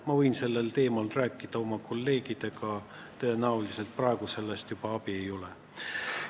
Ma võin sellel teemal oma kolleegidega rääkida, kuigi tõenäoliselt sellest praegu enam abi ei ole.